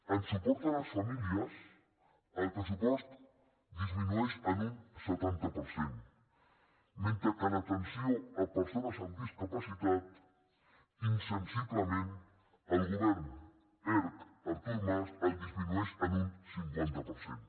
en suport a les famílies el pressupost disminueix en un setanta per cent mentre que en atenció a persones amb discapacitat insensiblement el govern erc artur mas el disminueix en un cinquanta per cent